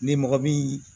Ni mɔgɔ bi